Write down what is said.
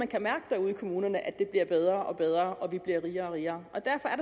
kan mærke derude i kommunerne altså at det bliver bedre og bedre og at vi bliver rigere og rigere og derfor er